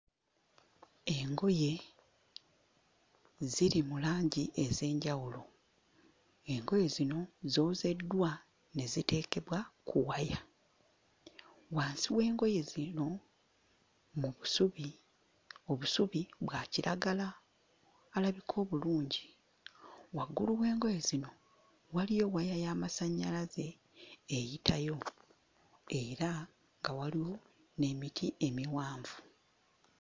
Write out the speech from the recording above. Engoye ziri mu langi ez'enjawulo. Engoye zino zoozeddwa ne ziteekebwa ku waya. Wansi w'engoye zino mu busubi, obusubi bwa kiragala alabika obulungi. Waggulu w'engoye zino waliyo waya y'amasannyalaze eyitayo era nga waliwo n'emiti emiwanvu.